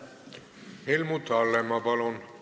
Helmut Hallemaa, palun!